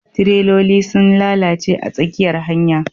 tireloli sun lalace a tsakiyar hanya